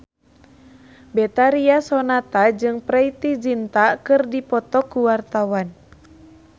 Betharia Sonata jeung Preity Zinta keur dipoto ku wartawan